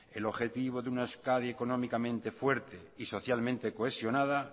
el objetivo de una euskadi económicamente fuerte y socialmente cohesionada